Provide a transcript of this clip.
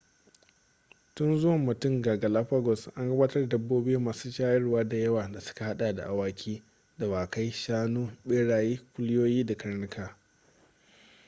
tun zuwan mutum ga galapagos an gabatar da dabbobi masu shayarwa da yawa da suka hada da awaki dawakai shanu beraye kuliyoyi da karnuka